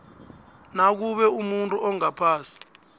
nakube umuntu ongaphasi